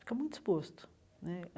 Fica muito exposto né.